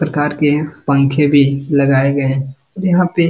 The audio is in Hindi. प्रकार के पंखे भी लगाए गए यहां पे।